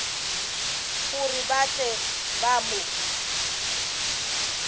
gore ba tle ba mo